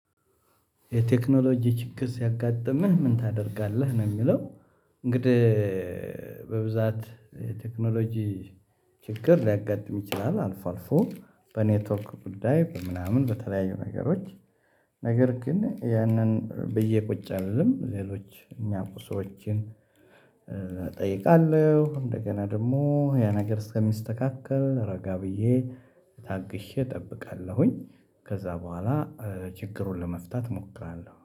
የቴክኖሎጂ ችግር ሲያጋጥምህ ምን ታደርጋለህ ነው የሚለው እንግዲህ በብዛት ቴክኖሎጂ ችግር ሊያጋጥም ይችላል አልፎ አልፎ በኔትወክ ጉዳይ በምናምን በተለያዩ ነገሮች ነገር ግን ያንን ብየ ቁጭ አልልም፤ ሌሎች እኒያ ቁሶችን እጠይቃለሁ እንደገና ደግሞ ያ ነገር እስከሚስተካከል ረጋ ብዬ ታግሼ እጠብቃለሁኝ ከዛ በኋላ ችግሩን ለመፍታት እሞክራለሁ።